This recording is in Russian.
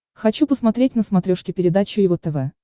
хочу посмотреть на смотрешке передачу его тв